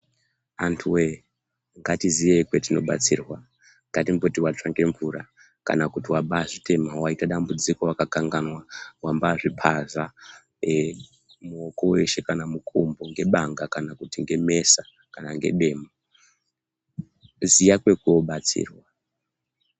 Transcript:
Anthuwee ngatiziye petinobatsirwa ngatimboti watsva ngemvura, kana kuti wabaazvitema, waite dambudziko wakakanganwa wabaazviphaza muoko weshe kana mukumbo ngebanga kana kuti ngemesa kana kuti ngedemo ziya kwekoobatsirwa.